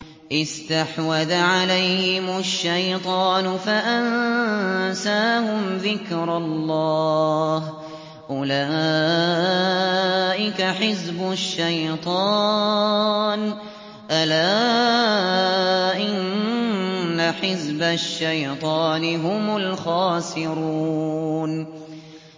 اسْتَحْوَذَ عَلَيْهِمُ الشَّيْطَانُ فَأَنسَاهُمْ ذِكْرَ اللَّهِ ۚ أُولَٰئِكَ حِزْبُ الشَّيْطَانِ ۚ أَلَا إِنَّ حِزْبَ الشَّيْطَانِ هُمُ الْخَاسِرُونَ